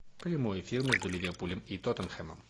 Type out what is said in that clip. прямой эфир между ливерпулем и тоттенхэмом